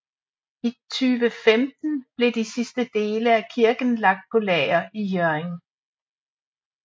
I 2015 blev de sidste dele af kirken lagt på lager i Hjørring